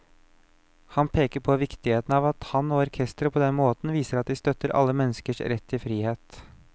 Han peker på viktigheten av at han og orkesteret på denne måten viser at de støtter alle menneskers rett til frihet.